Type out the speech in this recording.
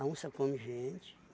A onça come gente.